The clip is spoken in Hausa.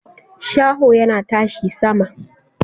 Shaho yana tashi sama